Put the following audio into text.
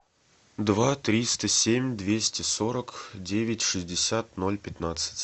два триста семь двести сорок девять шестьдесят ноль пятнадцать